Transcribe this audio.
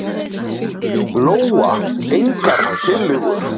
Lóa: Engar tillögur?